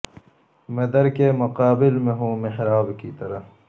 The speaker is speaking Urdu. میں در کے مقابل میں ہوں محراب کی طرح